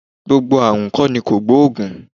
Gbogbo ààrùn kọ́ ni kògbóògùn